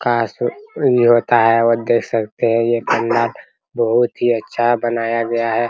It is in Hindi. काश इ होता है वो देख सकते है बहुत ही अच्छा बनाया गया है।